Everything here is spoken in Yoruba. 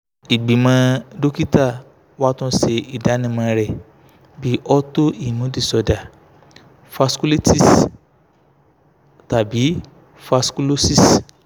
igbimọ dokita wa tun ṣe idanimọ rẹ bi auto immune disorder vasculitis tabi vasculosis